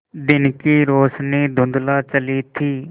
दिन की रोशनी धुँधला चली थी